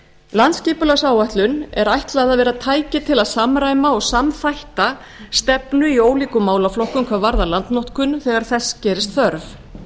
landsskipulagsáætlun er ætlað að vera tæki til að samræma og samþætta stefnu í ólíkum málaflokkum hvað varðar landnotkun þegar þess gerist þörf